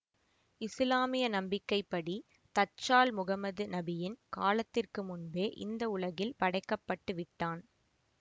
இசுலாமிய நம்பிக்கை படி தச்சால் முகம்மது நபியின் காலத்திற்க்கு முன்பே இந்த உலகில் படைக்கப்பட்டுவிட்டான்